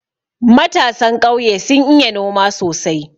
Matasan ƙauye sun iya noma sosai.